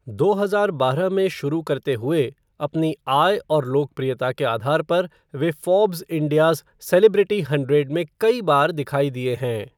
दो हजार बारह में शुरू करते हुए, अपनी आय और लोकप्रियता के आधार पर वे फ़ोर्ब्स इंडिया'ज़ सेलिब्रिटी हंड्रेड में कई बार दिखाई दिए हैं।